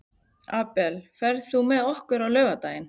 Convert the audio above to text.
Abel, ferð þú með okkur á laugardaginn?